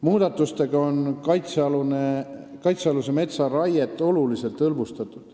Muudatustega on kaitsealuse metsa raiet oluliselt hõlbustatud.